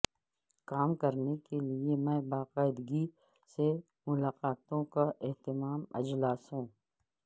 کام کرنے کے لئے میں باقاعدگی سے ملاقاتوں کا اہتمام اجلاسوں